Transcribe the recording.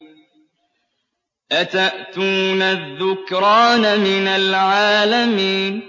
أَتَأْتُونَ الذُّكْرَانَ مِنَ الْعَالَمِينَ